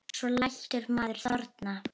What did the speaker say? Svo lætur maður þorna.